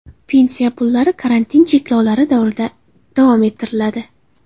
Pensiya pullari karantin cheklovlari davrida davom ettiriladi.